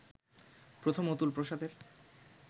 প্রথম অতুল প্রসাদের